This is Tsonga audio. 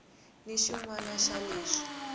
ni xin wana xa leswi